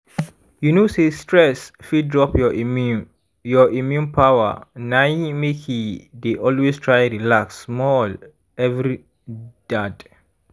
you know say stress fit drop your immune your immune power nai makei dey always try relax small every dad